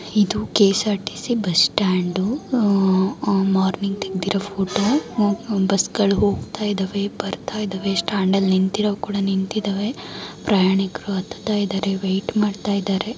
ಇದು KSRTC bus stand morning ತೆಗೆದಿರುವ photo . Bus ಗಳು ಹೋಗ್ತಾ ಇದಾವೆ ಬರ್ತಾ ಇದಾವೆ ಸ್ಟಾಂಡ್ ಅಲ್ಲಿ ನಿಂತಿರವು ಕೂಡ ನಿಂತಿದವೆ. ಪ್ರಯಾಣಿಕರು ಹತ್ತುತ್ತಾ ಇದಾರೆ ಮತ್ತು ವೈಟ್ ಮಾಡ್ತಾ ಇದಾರೆ.